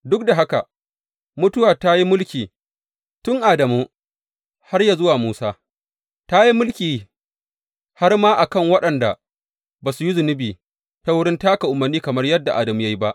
Duk da haka, mutuwa ta yi mulki tun Adamu har yă zuwa Musa, ta yi mulki har ma a kan waɗanda ba su yi zunubi ta wurin taka umarni kamar yadda Adamu ya yi ba.